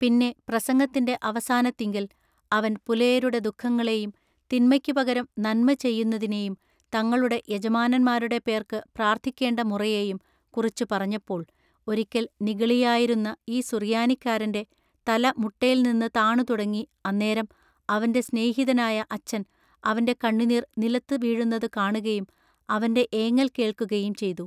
പിന്നെ പ്രസംഗത്തിന്റെ അവസാനത്തിങ്കൽ അവൻ പുലയരുടെ ദുഃഖങ്ങളെയും തിന്മയ്ക്കു പകരം നന്മ ചെയ്യുന്നതിനെയും തങ്ങളുടെ യജമാനന്മാരുടെ പേർക്ക് പ്രാർത്ഥിക്കേണ്ട മുറയെയും കുറിച്ചു പറഞ്ഞപ്പോൾ ഒരിക്കൽ നിഗളിയായിരുന്ന ഈ സുറിയാനിക്കാരന്റെ തല മുട്ടേൽനിന്നു താണു തുടങ്ങി അന്നേരം അവൻറ സ്നേഹിതനായ അച്ചൻ അവന്റെ കണ്ണുനീർ നിലത്തു വീഴുന്നതു കാണുകയും അവന്റെ ഏങ്ങൽ കേൾക്കയും ചെയ്തു.